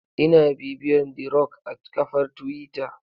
Ina bibiyar the rock a kafar twitter.